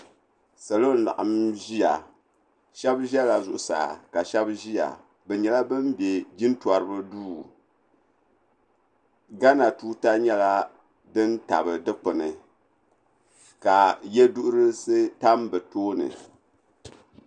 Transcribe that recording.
Salo n laɣim ziya shɛba zɛla zuɣusaa ka shɛba ziya bi yɛla bani bɛ jina tɔriba duu Ghana tuuta yɛla dini tabi dukpuni ka yiɛduhirisi tam bi tooni.